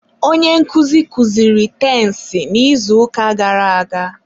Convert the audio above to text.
onye nkụzi kuziri tensị n'izuụka gara aga.